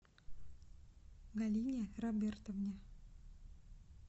галине робертовне